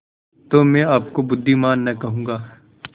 तो मैं आपको बुद्विमान न कहूँगा